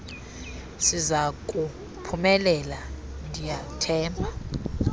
sizaku phumelela ndiyathemba